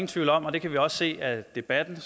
tvivl om og det kan vi også se af debatten